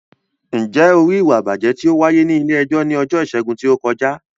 Ǹjẹ́ o rí ìwà ìbàjẹ́ tí ó wáyé ní ilé-ẹjọ́ ní ọjọ́ Ìṣẹ́gun tí ó kọjá?